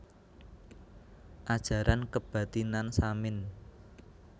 Ajaran Kebathinan Samin